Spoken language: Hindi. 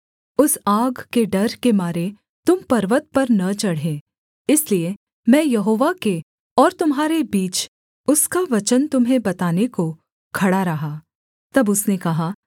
उस आग के डर के मारे तुम पर्वत पर न चढ़े इसलिए मैं यहोवा के और तुम्हारे बीच उसका वचन तुम्हें बताने को खड़ा रहा तब उसने कहा